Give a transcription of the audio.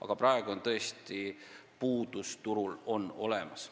Aga praegu on tõesti turul istikute puudus olemas.